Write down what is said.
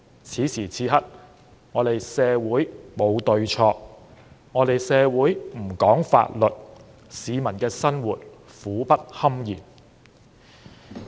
此時此刻，社會沒有對錯，社會不講法律，市民的生活苦不堪言。